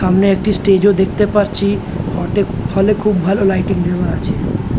সামনে একটি স্টেজে ও দেখতে পারছি অর্ধেক ফলে খুব ভালো লাইটিং দেওয়া আছে।